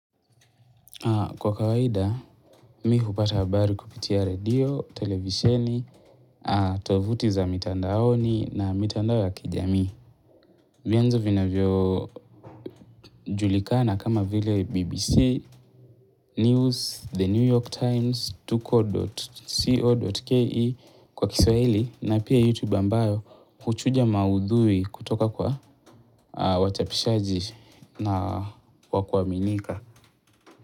Kwa kawaida, mi hupata habari kupitia redio, televisheni, tovuti za mitandaoni na mitandao ya kijamii. Mianzo vinavyo julikana kama vile BBC, News, The New York Times, Tuko.co.ke kwa kiswahili na pia YouTube ambayo kuchuja maudhui kutoka kwa wachapishaji na wakuaminika.